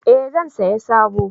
Eh zan saya sabo